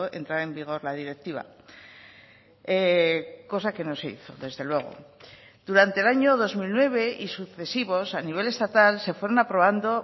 entraba en vigor la directiva cosa que no se hizo desde luego durante el año dos mil nueve y sucesivos a nivel estatal se fueron aprobando